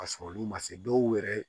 Ka sɔrɔ olu ma se dɔw yɛrɛ ye